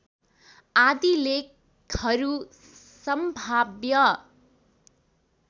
आदि लेखहरू सम्भाव्य